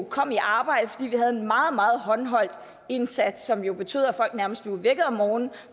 kom i arbejde fordi vi havde en meget meget håndholdt indsats som jo betød at folk nærmest blev vækket om morgenen og